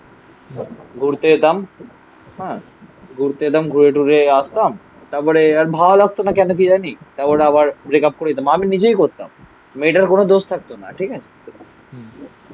ঘুরতে যেতাম হ্যাঁ ঘুরতে যেতাম ঘুরে টুরে আসলাম তারপরে আর ভালো লাগতো না কেন কি জানি তারপরে আবার ব্রেকআপ করে দিতাম আমি নিজেই করতাম মেয়েটার কোনো দোষ থাকতো না ঠিক আছে